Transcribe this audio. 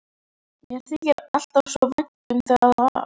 Mér þykir alltaf svo vænt um það lag.